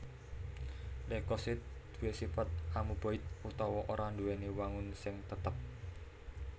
Leukosit duwé sifat amuboid utawa ora nduwèni wangun sing tetep